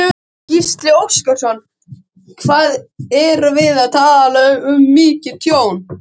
Gísli Óskarsson: Hvað erum við að tala um mikið tjón?